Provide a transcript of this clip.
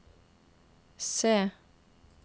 C